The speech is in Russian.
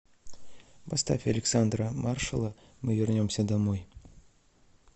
поставь александра маршала мы вернемся домой